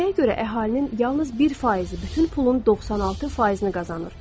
Nəyə görə əhalinin yalnız bir faizi bütün pulun 96%-ni qazanır?